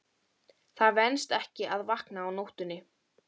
Það venst ekki að vakna á nóttunni.